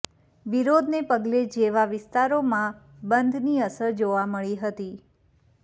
વિરોધને પગલે જેવા વિસ્તારોમાં બંધની અસર જોવા મળી હતી